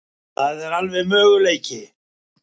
Það er alveg möguleiki.